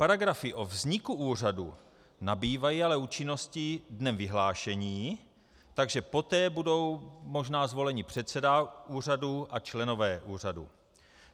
Paragrafy o vzniku úřadu nabývají ale účinnosti dnem vyhlášení, takže poté bude možná zvolen předseda úřadu a členové úřadu.